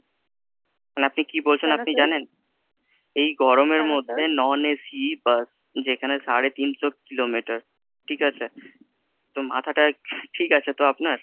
মানে আপনি কি বলছেন আপনি জানেন? এই গরমের মধ্যে non AC bus, যেখানে সাড়ে তিনশো kilometer ঠিক আছে? তো মাথাটা ঠিক আছে তো আপনার?